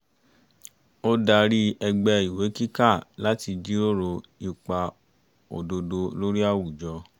ó darí ẹgbẹ́ ìwé kíkà láti jíròrò ipa òdodo lórí àwùjọ